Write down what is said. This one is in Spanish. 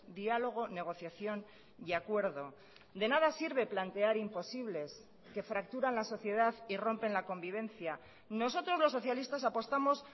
diálogo negociación y acuerdo de nada sirve plantear imposibles que fracturan la sociedad y rompen la convivencia nosotros los socialistas apostamos